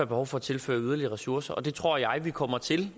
behov for at tilføre yderligere ressourcer det tror jeg vi kommer til